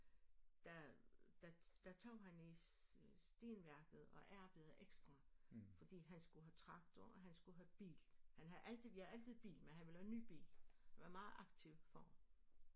Der der der tog han i stenværket og arbejdede ekstra fordi han skulle have traktor og han skulle have bil han havde altid vi havde altid bil men han ville have en ny bil han var en meget aktiv far